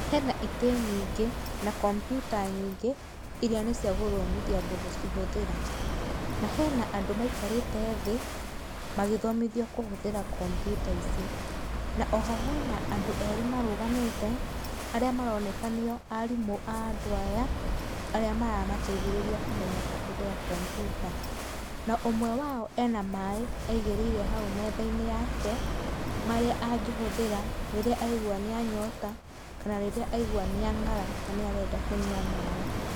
Hena itĩ nyingĩ na kompyuta nyingĩ irĩa nĩciagũthomithia andũ gũcihũthĩra ,na hena andũ meikarĩte thĩĩ magĩthomithwa kũhũthĩra kompyuta ici, na oho hena andũ erĩ marũgamĩte aríĩ aroneka nĩyo arimũ andũ aya arĩa maramateithĩrĩria kũmenya kũhũthĩra kompyuta na ũmwe wao ena maĩ aigĩrĩre haũ methainĩ yake marĩa angĩhũthĩra rĩrĩa aigua nĩanyota kana rĩrĩa aigua nĩangara na nĩarenda kũnywa maĩ.